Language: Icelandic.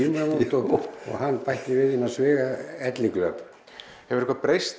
og hann bætti við innan sviga elliglöp hefur eitthvað breyst